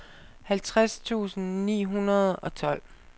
halvtreds tusind ni hundrede og tolv